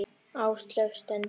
Áslaug stundi.